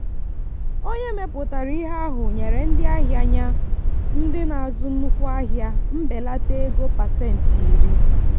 onye mepụtara ihe ahụ nyere ndị ahịa ya ndị na-azụ nnukwu ahịa mbelata ego pasentị iri.